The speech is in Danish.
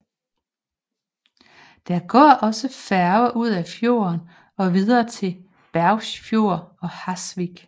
Der går også færge ud af fjorden og videre til Bergsfjord og Hasvik